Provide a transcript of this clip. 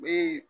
U bɛ